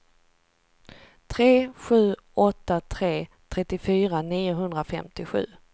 tre sju åtta tre trettiofyra niohundrafemtiosju